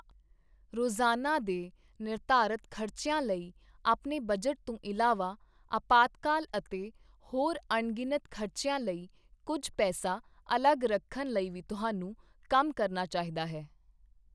ਰੋਜ਼ਾਨਾ ਦੇ ਨਿਰਧਾਰਤ ਖ਼ਰਚਿਆਂ ਲਈ ਆਪਣੇ ਬਜਟ ਤੋਂ ਇਲਾਵਾ, ਅਪਾਤਕਾਲ ਅਤੇ ਹੋਰ ਅਣਗਿਣਤ ਖ਼ਰਚਿਆਂ ਲਈ ਕੁੱਝ ਪੈਸਾ ਅਲੱਗ ਰੱਖਣ ਲਈ ਵੀ ਤੁਹਾਨੂੰ ਕੰਮ ਕਰਨਾ ਚਾਹੀਦਾ ਹੈ।